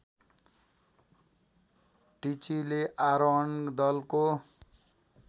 टिचीले आरोहण दलको